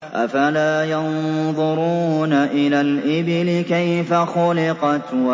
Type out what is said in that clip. أَفَلَا يَنظُرُونَ إِلَى الْإِبِلِ كَيْفَ خُلِقَتْ